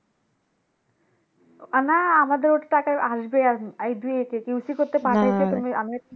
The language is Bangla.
না আমাদের ওটা টাকা আসবে এই দুই QC করতে পাঠাইছে তুমি, আমি